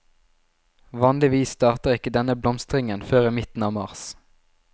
Vanligvis starter ikke denne blomstringen før i midten av mars.